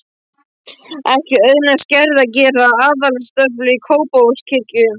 Ekki auðnaðist Gerði að gera altaristöflu í Kópavogskirkju.